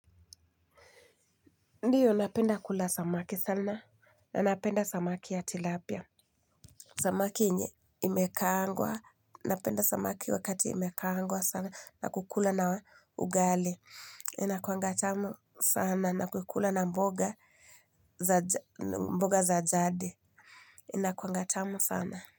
Ndiyo napenda kula samaki sana, na napenda samaki ya tilapia. Samaki yenye imekaangwa, napenda samaki wakati imekaangwa sana. Nakukula na ugali, inakuanga tamu sana. Nakukula na mboga za jadi, inakuanga tamu sana.